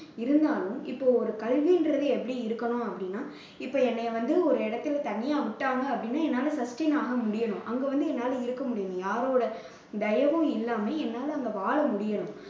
இருந்தாலும், இப்போ ஒரு கல்வின்றது எப்படி இருக்கணும் அப்படின்னா இப்போ என்னைய வந்து ஒரு இடத்துல தனியா விட்டாங்க அப்படின்னா என்னால sustain ஆக முடியணும். அங்க வந்து என்னால இருக்க முடியணும் யாரோட தயவும் இல்லாம என்னால அங்க வாழ முடியணும்